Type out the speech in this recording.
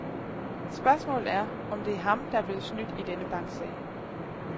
Spørgsmålet er, om det er ham, der er blevet snydt i denne banksag.